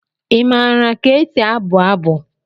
Ị maara ka esi abụ abụ?